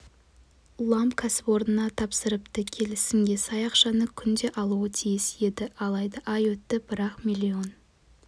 ламб кәсіпорнына тапсырыпты келісімге сай ақшаны күнде алуы тиіс еді алайда ай өтті бірақ миллион